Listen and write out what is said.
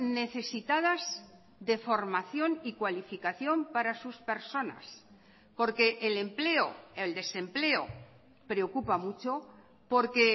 necesitadas de formación y cualificación para sus personas porque el empleo el desempleo preocupa mucho porque